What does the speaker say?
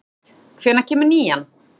Skuld, hvenær kemur nían?